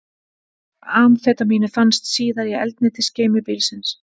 Amfetamínið fannst síðar í eldsneytisgeymi bílsins